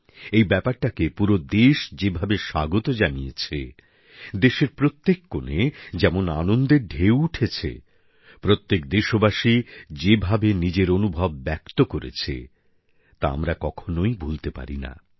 এই বিষয়টিকে পুরো দেশ যেভাবে স্বাগত জানিয়েছে দেশের প্রত্যেক কোণে যেমন আনন্দের ঢেউ উঠেছে প্রত্যেক দেশবাসী যেভাবে নিজের অনুভব ব্যক্ত করেছে তা আমরা কখনই ভুলতে পারি না